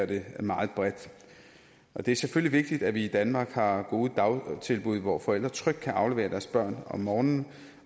det meget bredt det er selvfølgelig vigtigt at vi i danmark har gode dagtilbud hvor forældre trygt kan aflevere deres børn om morgenen